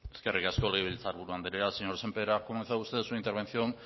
eskerrik asko legebiltzar buru andrea señor sémper ha comenzado usted su intervención